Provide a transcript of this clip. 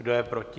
Kdo je proti?